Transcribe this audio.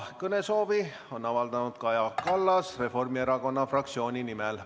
Kõnesoovi on avaldanud Kaja Kallas Reformierakonna fraktsiooni nimel.